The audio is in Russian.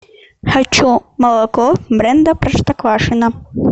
хочу молоко бренда простоквашино